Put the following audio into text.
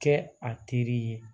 Kɛ a teri ye